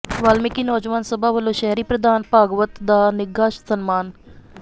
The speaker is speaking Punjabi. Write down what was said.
ਵਾਲਮੀਕਿ ਨੌਜਵਾਨ ਸਭਾ ਵੱਲੋਂ ਸ਼ਹਿਰੀ ਪ੍ਰਧਾਨ ਭਾਰਗਵ ਦਾ ਨਿੱਘਾ ਸਨਮਾਨ